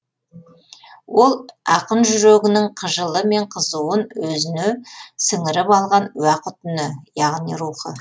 ол ақын жүрегінің қыжылы мен қызуын өзіне сіңіріп алған уақыт үні яғни рухы